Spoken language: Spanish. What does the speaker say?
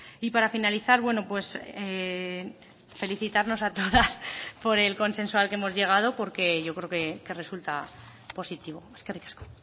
y para finalizar bueno pues felicitarnos a todas por el consenso al que hemos llegado porque yo creo que resulta positivo eskerrik asko